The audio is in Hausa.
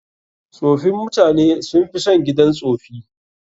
Tsofin mutane sun fi son gidan tsofi.